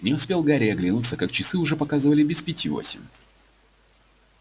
не успел гарри оглянуться как часы уже показывали без пяти восемь